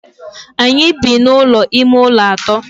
Anyị bi n'ụlọ ime ụlọ atọ.